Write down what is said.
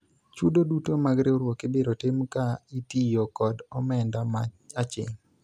chudo duto mag riwruok ibiro tim ka itiyo kod omenda ma aching'